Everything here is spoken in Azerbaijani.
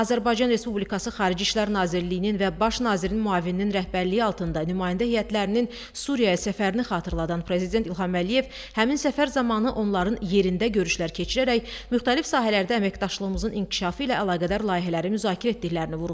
Azərbaycan Respublikası Xarici İşlər Nazirliyinin və Baş nazirin müavininin rəhbərliyi altında nümayəndə heyətlərinin Suriyaya səfərini xatırladan Prezident İlham Əliyev həmin səfər zamanı onların yerində görüşlər keçirərək müxtəlif sahələrdə əməkdaşlığımızın inkişafı ilə əlaqədar layihələri müzakirə etdiklərini vurğuladı.